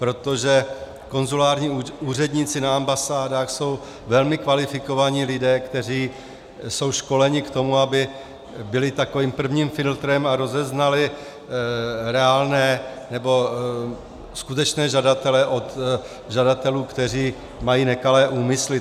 Protože konzulární úředníci na ambasádách jsou velmi kvalifikovaní lidé, kteří jsou školeni k tomu, aby byli takovým prvním filtrem a rozeznali reálné, nebo skutečné žadatele od žadatelů, kteří mají nekalé úmysly.